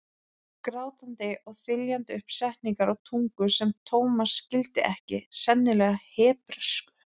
Grátandi og þyljandi upp setningar á tungu sem Thomas skildi ekki, sennilega hebresku.